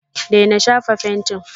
daina shafa fentin!